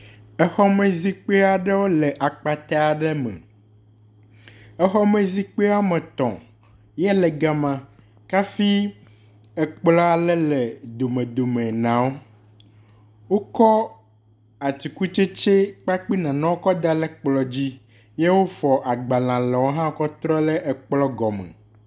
exɔme zikpi aɖewo le akpata ɖe me exɔme zikpia wɔmetɔ̃ ya le gama hafi ekplɔa le le dome dome nawo wókɔ atsikutsetse kple nanewo kɔ dale kplɔa dzi ye wofɔ agbala lewo hã kɔ trɔ le ekplɔ̃ gɔme